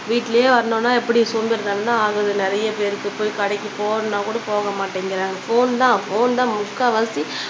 வீட்டுலயே வரணும்னா எப்பிடி சோம்பேறிதனமா ஆகுது நிறையப் பேருக்கு போய் கடைக்கு போனா கூட போக மாட்டிங்குறாங்க ஃபோன் தான் ஃபோன் தான் முக்காவாசி